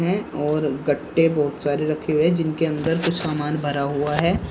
हैं और गट्टे बहुत सारे रखे हुए हैं जिनके अंदर कुछ सामान भरा हुआ है।